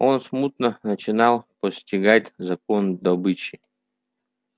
он смутно начинал постигать закон добычи